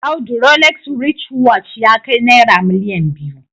Audu Rolex writchwatch ya kai naira miliyan biyu